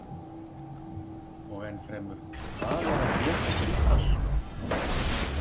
Og enn fremur, hvað er að geta gert allt?